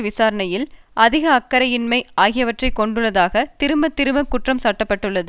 விசாரணையில் அதிக அக்கறையின்மை ஆகியவற்றை கொண்டுள்ளதாக திரும்ப திரும்ப குற்றம் சாட்ட பட்டுள்ளது